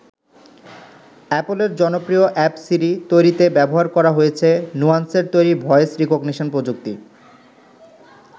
অ্যাপলের জনপ্রিয় app Siri তৈরিতে ব্যবহার করা হয়েছে নুয়ান্সের তৈরি ভয়েস রিকগনিশন প্রযুক্তি।